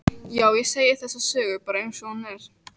Já, ég segi þessa sögu bara einsog hún er.